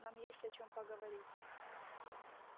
нам есть о чём поговорить